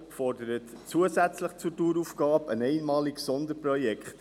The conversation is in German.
Die Motion fordert zusätzlich zur Daueraufgabe ein einmaliges Sonderprojekt.